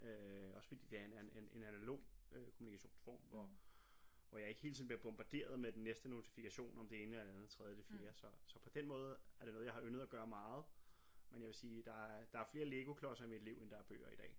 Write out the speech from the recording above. Øh også fordi det er en en en analog kommunikationsform og hvor jeg ikke hele tiden bliver bombarderet med den næste notifikation om det ene eller det andet tredje det fjerde så så på den måde er det noget jeg har yndet at gøre meget men jeg vil sige der er der er flere legoklodser i mit liv end der er bøger i dag